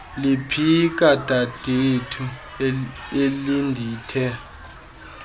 liphika dadethu elindithe